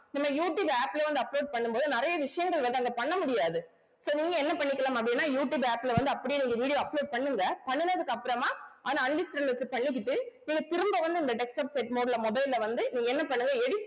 நம்ம YouTube app லயே வந்து upload பண்ணும்போது நிறைய விஷயங்கள் வந்து அத பண்ண முடியாது so நீங்க என்ன பண்ணிக்கலாம் அப்படின்னா யூட்டியூப் app ல வந்து அப்படியே நீங்க video upload பண்ணுங்க பண்ணினதுக்கு அப்புறமா ஆனா நீங்க திரும்ப வந்து இந்த desktop set mode ல mobile ல வந்து நீங்க என்ன பண்ணுங்க edit